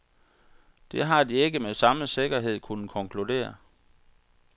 Det har de ikke med samme sikkerhed kunnet konkludere.